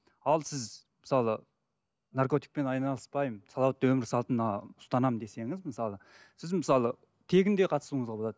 ал сіз мысалы наркотикпен айналыспаймын салауатты өмір салтына ұстанамын десеңіз мысалы сіз мысалы тегін де қатысуыңызға болады